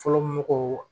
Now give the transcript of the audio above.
Fɔlɔ mɔgɔw